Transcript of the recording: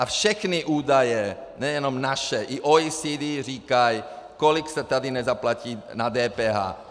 A všechny údaje, nejenom naše, i OECD, říkají, kolik se tady nezaplatí na DPH.